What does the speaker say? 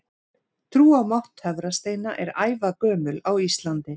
Trú á mátt töfrasteina er ævagömul á Íslandi.